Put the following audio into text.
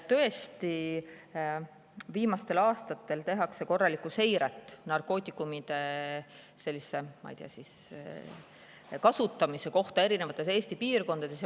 Tõesti, viimastel aastatel tehakse korralikku seiret, milline on narkootikumide kasutamine erinevates Eesti piirkondades.